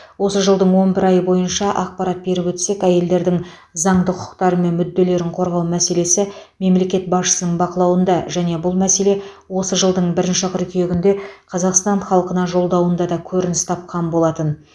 осы жылдың он бір айы бойынша ақпарат беріп өтсек әйелдердің заңды құқықтары мен мүдделерін қорғау мәселесі мемлекет басшысының бақылауында және бұл мәселе осы жылдың бір қыркүйегінде қазақстан халқына жолдауында да көрініс тапқан болатын